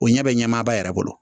O ɲɛ bɛ ɲɛmaaba yɛrɛ bolo